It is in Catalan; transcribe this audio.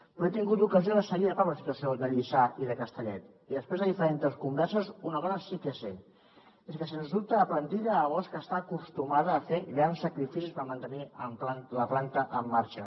però he tingut l’ocasió de seguir de prop la situació de lliçà i de castellet i després de diferents converses una cosa sí que sé és que sens dubte la plantilla de bosch està acostumada a fer grans sacrificis per mantenir la planta en marxa